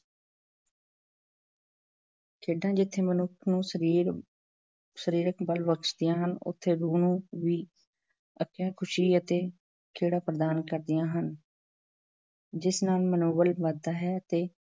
ਖੇਡਾਂ ਜਿੱਥੇ ਮਨੁੱਖ ਨੂੰ ਸਰੀਰ ਸਰੀਰਕ ਬਲ ਬਖਸ਼ਦੀਆਂ ਹਨ ਉੱਥੇ ਰੂਹ ਨੂੰ ਵੀ ਅਕਹਿ ਖੁਸ਼ੀ ਅਤੇ ਖੇੜਾ ਪ੍ਰਦਾਨ ਕਰਦੀਆਂ ਹਨ ਜਿਸ ਨਾਲ ਮਨੋਬਲ ਵਧਦਾ ਹੈ ਅਤੇ